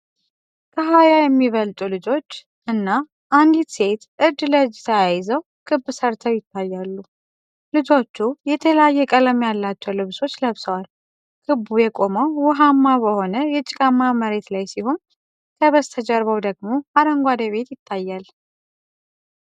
ከሃያ የሚበልጡ ልጆች እና አንዲት ሴት እጅ ለእጅ ተያይዘው ክብ ሰርተው ይታያሉ። ልጆቹ የተለያየ ቀለም ያላቸው ልብሶች ለብሰዋል። ክቡ የቆመው ውሃማ በሆነ የጭቃማ መሬት ላይ ሲሆን፣ ከበስተጀርባው ደግሞ አረንጓዴ ቤት ይታያል።